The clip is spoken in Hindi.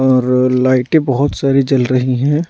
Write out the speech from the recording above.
और लाइटें बहुत सारी जल रही हैं।